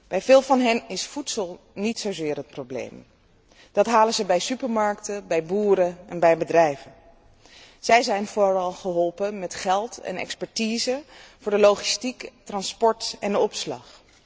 Bij veel van hen is voedsel niet zozeer het probleem, dat halen ze bij supermarkten, bij boeren en bij bedrijven. Zij zijn vooral geholpen met geld en expertise voor de logistiek, het transport en de opslag.